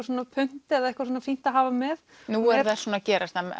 svona punt eða eitthvað sem er fínt að hafa með nú er það svona að gerast